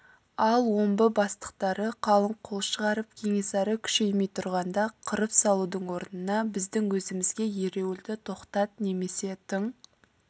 ал омбы бастықтары қалың қол шығарып кенесары күшеймей тұрғанда қырып салудың орнына біздің өзімізге ереуілді тоқтат немесе тың